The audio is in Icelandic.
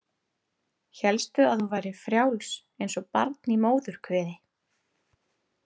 Hélstu að þú værir frjáls eins og barn í móðurkviði?